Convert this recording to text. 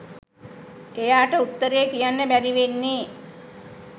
එයාට උත්තරේ කියන්න බැරි වෙන්නේ